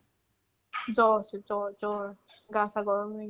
জ্বৰ হৈছে জ্বৰ জ্বৰ গা চা গৰম হৈ গৈছে